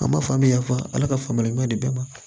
A ma faamu an bɛ yafa ala ka faamuyali ɲuman di bɛɛ ma